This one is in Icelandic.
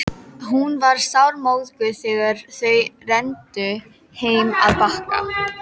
Hún var sármóðguð þegar þau renndu heim að Bakka.